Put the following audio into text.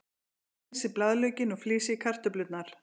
Hreinsið blaðlaukinn og flysjið kartöflurnar.